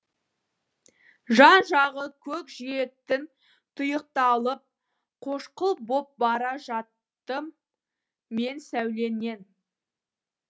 жан жағы көкжиектің тұйықталып қошқыл боп бара жаттым мен сәулеңнен